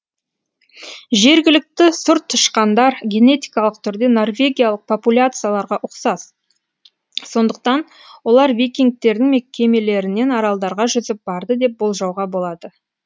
жергілікті сұр тышқандар генетикалық түрде норвегиялық популяцияларға ұқсас сондықтан олар викингтердің кемелерінен аралдарға жүзіп барды деп болжауға болады